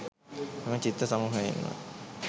මෙම චිත්‍ර සමූහයෙන්ම